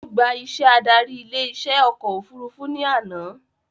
Ó gbà iṣẹ́ adarí ilé iṣẹ́ ọkọ̀ òfurufú ní àná